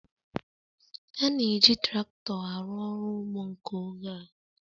A na-eji traktọ arụ ọrụ ugbo nke oge a.